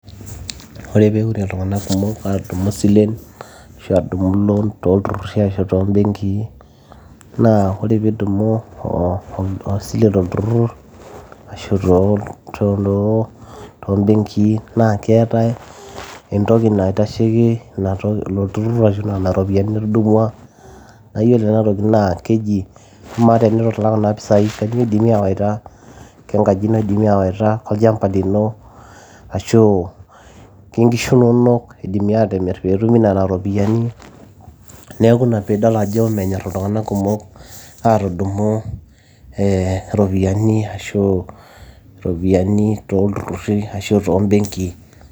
ore peure iltung'anak kumok atudumu isilen ashu atudumu loan tolturruri ashu tombenkii naa ore piidumu oh, osile tolturrur ashu tombenki naa keetae entoki naitasheki ilo turrur ashu nana ropiyiani nitudumua naa yiolo ena toki naa keji amaa tenitu ilak kuna pisai kanyioo idimi awaita kenkaji ino idimi awaita kenkaji ino idimi awaita kolchamba lino ashu kenkishu inonok idimi atimirr peetumi nena ropiyiani neeku ina piidol ajo menyorr iltung'anak kumok atudumu ee iropiyiani ashu iropiyiani tolturruri ashu tombenkii.